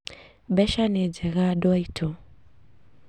Mbeca nĩ njega andũ aitũ